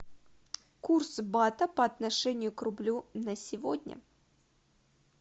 курс бата по отношению к рублю на сегодня